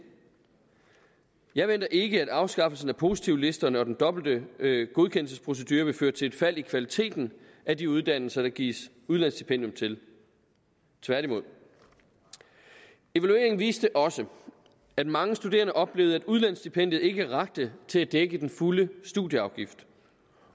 jeg venter ikke at afskaffelsen af positivlisterne og den dobbelte godkendelsesprocedure vil føre til et fald i kvaliteten af de uddannelser der gives udlandsstipendium til tværtimod evalueringen viste også at mange studerende oplevede at udlandsstipendiet ikke rakte til at dække den fulde studieafgift